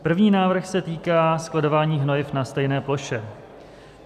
První návrh se týká skladování hnojiv na stejné ploše.